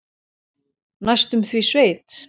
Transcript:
Næstum því sveit.